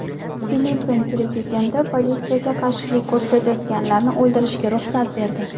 Filippin prezidenti politsiyaga qarshilik ko‘rsatganlarni o‘ldirishga ruxsat berdi.